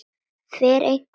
Fer einhver eftir því?